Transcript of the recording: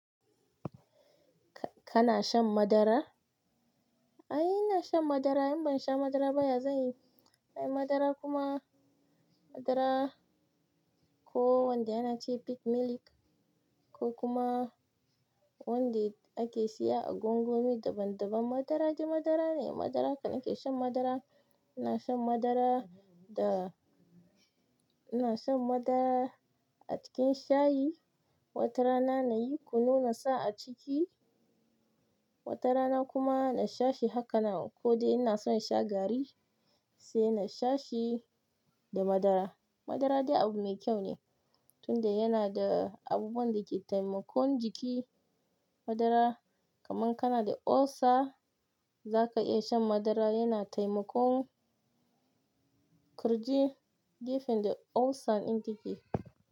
Kana shan madara? Ai ina shan madara, in ban sha madara ba ya zan yi. Ai madara kuma madara ko wanda yana ce peak milk ko kuma wanda ake siya a gwangwani daban daban madara dai madara ne. Madara, ni ke shan madara. Ina shan madara da ina shan madara a cikin shayi. Wata rana na yi kunu na sa a ciki, wata rana kuma na sha shi haka nan. Ko dai ina son sha garri sai na sha shi da madara. Madara dai abu mai kyau ne tunda yana da abubuwan dake taimakon jiki. Madara, kamar kana da ulcer zaka iya shan madara yana taimakon ƙirji, gefen da ulcer ɗin take.